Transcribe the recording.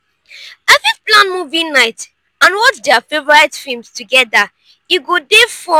i fit plan movie night and watch dia favorite films together e go dey fun.